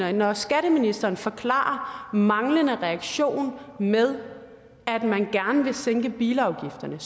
er når skatteministeren forklarer manglende reaktion med at man gerne vil sænke bilafgifterne